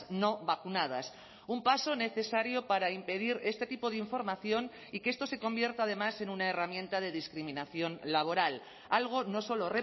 no vacunadas un paso necesario para impedir este tipo de información y que esto se convierta además en una herramienta de discriminación laboral algo no solo